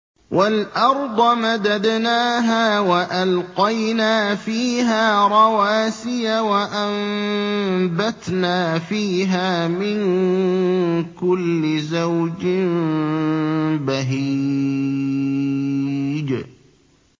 وَالْأَرْضَ مَدَدْنَاهَا وَأَلْقَيْنَا فِيهَا رَوَاسِيَ وَأَنبَتْنَا فِيهَا مِن كُلِّ زَوْجٍ بَهِيجٍ